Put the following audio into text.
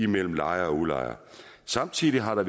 mellem lejer og udlejer samtidig har der